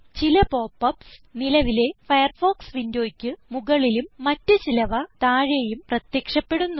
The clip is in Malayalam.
ചില pop യുപിഎസ് നിലവിലെ ഫയർഫോക്സ് വിൻഡോയ്ക്ക് മുകളിലും മറ്റ് ചിലവ താഴേയും പ്രത്യക്ഷപ്പെടുന്നു